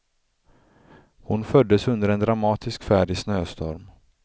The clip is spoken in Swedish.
Hon föddes under en dramatisk färd i snöstorm.